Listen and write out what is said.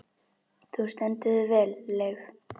Þú stendur þig vel, Leif!